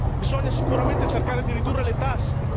Bisogna sicuramente cercare di ridurre le tasse